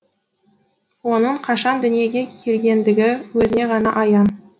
оның қашан дүниеге келгендігі өзіне ғана аян